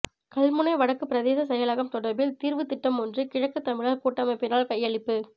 கல்முனை வடக்குப் பிரதேச செயலகம் தொடர்பில் தீர்வுத் திட்டமொன்று கிழக்குத் தமிழர் கூட்டமைப்பினால் கையளிப்பு